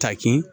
Takin